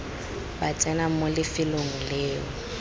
ba tsena mo lefelong leo